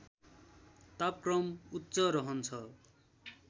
तापक्रम उच्च रहन्छ